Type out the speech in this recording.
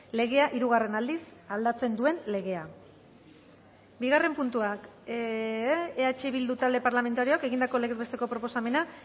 legea hirugarren aldiz aldatzen duen legea bigarren puntuak eh bildu talde parlamentarioak egindako legez besteko proposamena